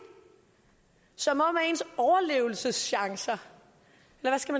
som om ens overlevelseschancer